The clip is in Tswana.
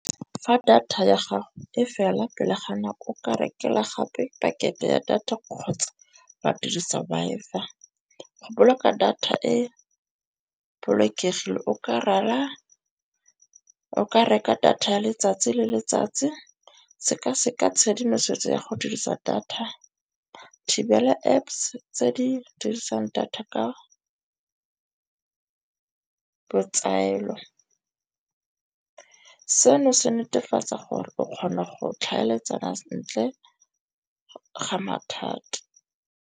Fa data ya gago e fela pele ga nako o ka rekelwa gape pakete ya data kgotsa ba dirisa Wi-Fi. Go boloka data e bolokegile o Ka rara, o ka reka data ya letsatsi le letsatsi, seka-seka tshedimosetso ya go dirisa data, thibela Apps tse di dirisang data ka botsaelo. Seno se netefatsa gore o kgona go tlhaeletsana sentle ga mathata.